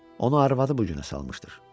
Onu arvadı bu günə salmışdır.